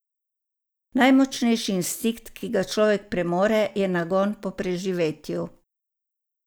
Najmočnejši instinkt, ki ga človek premore, je nagon po preživetju.